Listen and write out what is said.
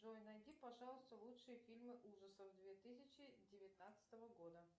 джой найди пожалуйста лучшие фильмы ужасов две тысячи девятнадцатого года